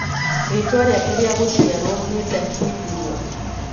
Ritwa riake ria gũciarwo ni Ndahindurwa.